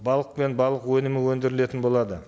балық пен балық өнімі өндірілетін болады